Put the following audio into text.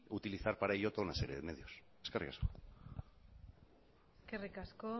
utilizar para ello toda una serie de medios eskerrik asko eskerrik asko